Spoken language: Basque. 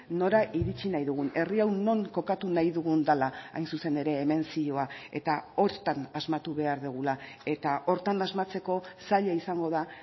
nora iritsi nahi dugun herri hau non kokatu nahi dugun dela hain zuzen ere hemen zioa eta horretan asmatu behar dugula eta horretan asmatzeko zaila izango da